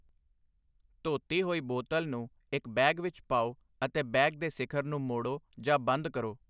ਧੋਤੀ ਹੋਈ ਬੋਤਲ ਨੂੰ ਇੱਕ ਬੈਗ ਵਿੱਚ ਪਾਓ ਅਤੇ ਬੈਗ ਦੇ ਸਿਖਰ ਨੂੰ ਮੋੜੋ ਜਾਂ ਬੰਦ ਕਰੋ।